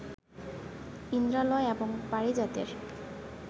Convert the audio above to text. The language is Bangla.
ইন্দ্রালয় এবং পারিজাতের